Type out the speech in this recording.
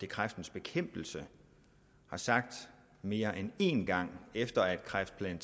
kræftens bekæmpelse har sagt mere end én gang efter at kræftplan